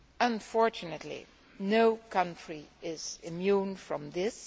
Unfortunately, no country is immune from this.